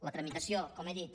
la tramitació com he dit